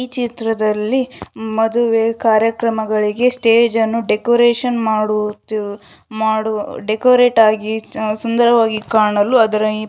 ಈ ಚಿತ್ರದಲ್ಲಿ ಮದುವೆ ಕಾರ್ಯಕ್ರಮಗಳಿಗೆ ಸ್ಟೆಜನ್ನು ಡೆಕೋರೇಷನ್ ಮಾಡುತ್ತಿರುವುದು ಮಾಡುವ ಡೆಕೋರೇಟ್ ಆಗಿ ಸುಂದರವಾಗಿ ಕಾಣಲು ಅದರ --